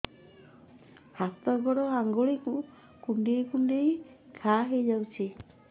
ହାତ ଗୋଡ଼ ଆଂଗୁଳି କୁଂଡେଇ କୁଂଡେଇ ଘାଆ ହୋଇଯାଉଛି